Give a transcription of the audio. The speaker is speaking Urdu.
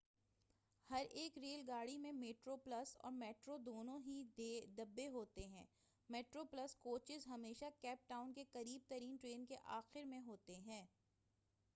ہر ایک ریل گاڑی میں میٹرو پلس اور میٹرو دونوں ہی ڈبے ہوتے ہیں میٹرو پلس کوچز ہمیشہ کیپ ٹاؤن کے قریب ترین ٹرین کے آخر میں ہوتے ہیں